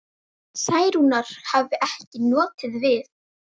Særúnar hefði ekki notið við.